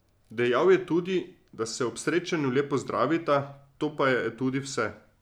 Dejal je tudi, da se ob srečanju le pozdravita, to pa je tudi vse.